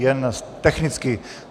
Jen technicky.